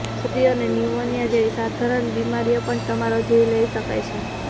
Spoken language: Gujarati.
શરદી અને ન્યૂમોનિયા જેવી સાધારણ બીમારીઓ પણ તમારો જીવ લઈ શકે છે